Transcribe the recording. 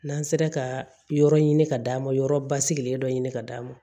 N'an sera ka yɔrɔ ɲini ka d'a ma yɔrɔ basigilen dɔ ɲini ka d'a ma